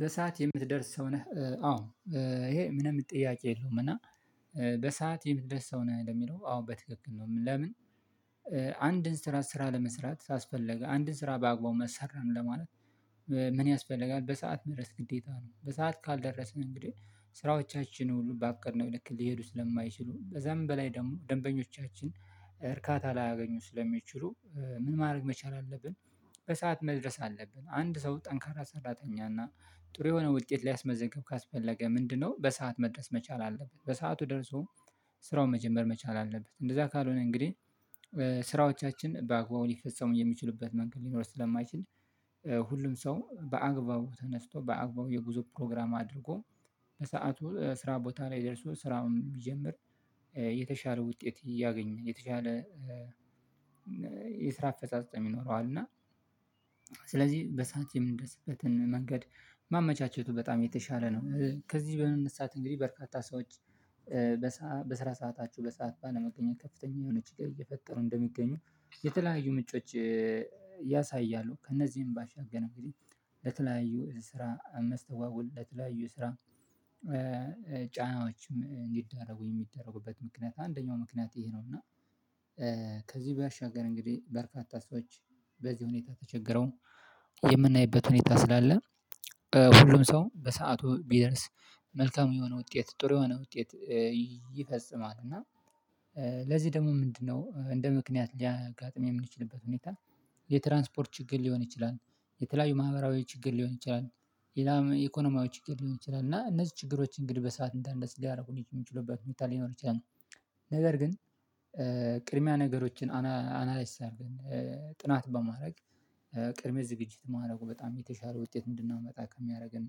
በሰአት የምትደርስ ሰው ነህ? አዎ ይሄ ምንም ጥያቄ የለውም። እና በሰአት የምትደርስ ሰው ነህ ለሚለው አዎ በትክክል፤ ለምን? አንድን ስራ ስራ ለመስራት ካስፈልግ፣ አንድን ስራ በአግባቡ መስራት እንደሆነ ምን ያስፈልጋል በሰአት መድረስ ግዴታ ነው። በሰአት ካልደረስን እንግዲህ ስራዎቻችን ባቀድነው ልክ ሊሄዱ ስለማይችሉ፣ ከዛም በላይ ደግሞ ደንበኞቻችን እርካታ ላያገኙ ስለሚችሉ፤ ምን ማድረግ መቻል አለብን በሰአት መድረስ አለብን። አንድ ሰው ጠንካራ ሰራተኛ እና ጥሩ የሆነ ውጤት ሊያስመዘግብ ካስፈለገ ምንድነው በሰአት መድረስ መቻል አለበት። በሰአቱ ደርሶ ስራውን መጀመር መቻል አለበት፤ እንደዛ ካልሆነ እንግዲህ፣ ስራዎቻችን በአግባቡ ሊፈፀሙ የሚችሉበት መንገድ ሊኖር ስለማይችል፣ ሁሉም ሰው በአግባቡ ተነስቶ በአግባቡ የጉዞ ፕሮግራም አድርጎ፣ በሰአቱ ስራ ቦታ ላይ ደርሶ ስራውን ቢጀምር የተሻለ ውጤት እያገኘ የተሻለ የስራ አፈጻጸም ይኖረዋል። እና ስለዚህ በሰአት የምንደስበትን መንገድ ማመቻቸቱ በጣም የተሻለ ነው። ከዚህ በመነሳት እንግዲህ በርካታ ሰዎች በስራ ሰዓታቸው በሰአት ባለመገኘት ከፍተኛ የሆነ ችግር እየፈጠሩ እንደሚገኙ የተለያዩ ምንጮች ያሳያሉ። ከእነዚህም ባሻገር እንግዲህ ለተለያዩ ስራ መስጓጎል ለተለያዩ ስራ ጫናዎችም እንዲዳረጉ የሚዳረጉበት ምክንያት አንደኛው ምክንያት ይሄ ነው፤ እና ከዚህ ባሻግር እንግዲህ በርካታ ሰዎች በዚህ ሁኔታ ተቸግረው፣ የምናይበት ሁኔታ ስላለ ሁሉም ሰው በሰአቱ ቢደርስ መልካም የሆነ ውጤት ጥሩ የሆነ ውጤት ይፈፅማል። እና ለዚህ ደግሞ ምንድነው እንደ ምክንያት ሊያጋጥም የምንችልበት ሁኔታ፣ የትራንስፖርት ችግር ሊሆን ይችላል፣ የተለያዩ ማህበራዊ ችግር ሊሆን ይችላል፣ ሌላም ኢኮኖሚያዊ ችግር ሊሆን ይችላል፤ እና እነዚህ ችግሮች እንግዲህ በሰአት እንዳንደርስ ሊያደርጉን የሚችሉበት ቦታ ሊኖር ይችላል። ነገር ግን ቅድሚያ ነገሮችን አናላይዝ አድርገን፣ ጥናት በማድረግ ቅድሚያ ዝግጅት ማድረጉ በጣም የተሻለ ውጤት እንድናመጣ ከሚያደርገን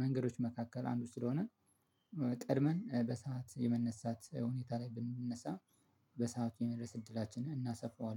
መንገዶች መካከል አንዱ ስለሆነ፤ ቀድመን በሰአት የመነሳት ሁኔታ ላይ ብንነሳ በሰአቱ የመድረስ እድላችንን እናሰፋዋለን።